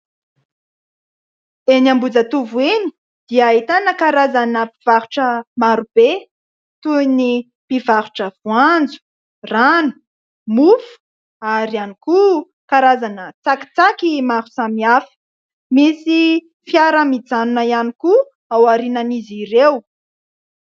Eny Ambohijatovo eny dia ahitana karazana mpivarotra marobe, toy ny mpivarotra : voanjo, rano, mofo ary ihany koa karazana tsakitsaky maro samihafy ; misy fiara mijanona ihany koa ao aorianan'izy ireo.